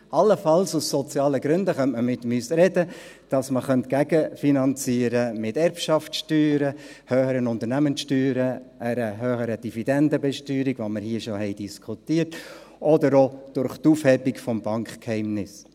Allenfalls könnte man mit uns aus sozialen Gründen darüber sprechen, dass man dies gegenfinanzieren könnte durch Erbschaftssteuern, höhere Unternehmenssteuern, einer höheren Dividendenbesteuerung, die wir in diesem Saal bereits diskutiert haben, oder auch durch die Aufhebung des Bankgeheimnisses.